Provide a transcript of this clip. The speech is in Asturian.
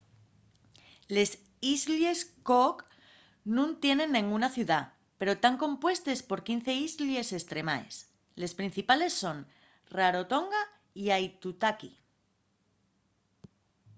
les islles cook nun tienen nenguna ciudá pero tán compuestes por 15 islles estremaes les principales son rarotonga y aitutaki